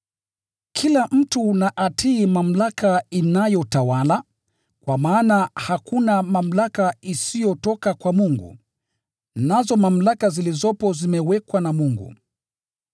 Kila mtu na atii mamlaka inayotawala, kwa maana hakuna mamlaka isiyotoka kwa Mungu, nazo mamlaka zilizopo zimewekwa na Mungu.